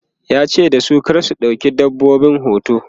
yace dasu "kar ku ɗauki dabbobin hoto!'